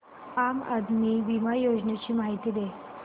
आम आदमी बिमा योजने ची माहिती दे